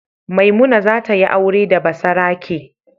Maimuna za ta yi aure da basarake.